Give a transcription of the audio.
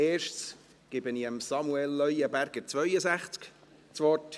Zuerst gebe ich Samuel Leuenberger, 62, das Wort.